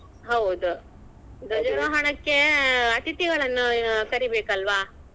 ಹೌದು ಧ್ವಜಾರೋಹಣಕ್ಕೆ ಅತಿಥಿಯವರನ್ನು ಕರೀಬೇಕಲ್ವಾ.